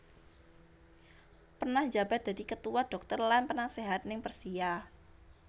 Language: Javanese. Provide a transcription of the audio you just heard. Pernah njabat dadi ketua dhokter lan penaséhat ning Persia